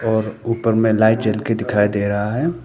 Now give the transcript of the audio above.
और ऊपर में लाइट जल के दिखाई दे रहा है।